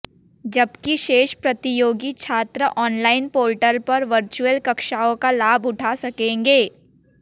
जबकि शेष प्रतियोगी छात्र ऑनलाइन पोर्टल पर वर्चुअल कक्षाओं का लाभ उठा सकेंगे